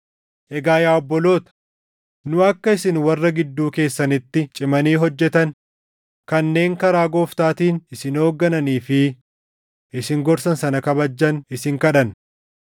Egaa yaa obboloota, nu akka isin warra gidduu keessanitti cimanii hojjetan, kanneen karaa Gooftaatiin isin hooggananii fi isin gorsan sana kabajjan isin kadhanna.